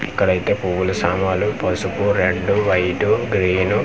ఇక్కడ అయితే పువ్వులు సమన్లు పసుపు రెడ్ వైట్ గ్రీన్ .